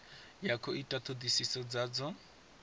ya khou ita thodisiso dzadzo